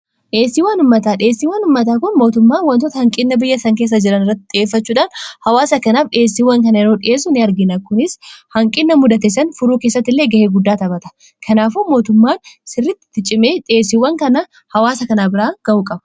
dheessiiwwan ummataa, dheessiiwwan ummataa kun mootummaan wantoota hanqina biyya san keessa jiran irratti xiyyeffachuudhaan hawaasa kanaaf dhiyeessiiwwan kana yeroo dhi'eessu ni argina kunis hanqina mudatessan furuu keessatti illee ga'ee guddaa taphata. kanaafu mootummaan sirrittiti cimee dheessiiwwan kana hawaasa kanaa biraan ga'uu qaba.